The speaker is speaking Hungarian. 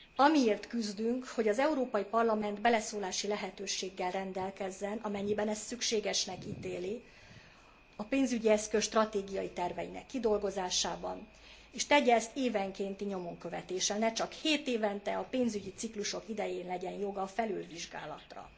Amiért küzdünk, hogy az Európai Parlament beleszólási lehetőséggel rendelkezzen, amennyiben ezt szükségesnek ítéli a pénzügyi eszköz stratégia terveinek kidolgozásában, és tegye ezt évenkénti nyomonkövetéssel, ne csak hétévente, a pénzügyi ciklusok idején legyen joga felülvizsgálatra.